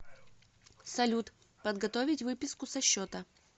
салют подготовить выписку со счета